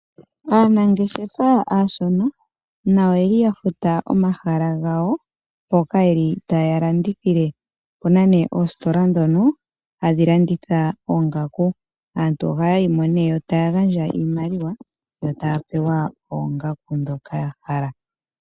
Aanangeshefa aashona , nayo oyeli ya futa omahala gawa mpoka yeli taya landithile. Opuna nee oositola dhono tadhi landitha oongaku, aantu ohaya yi mo nee yo taya gandja iimaliwa yo taa pewa oongaku dhoka ya hala.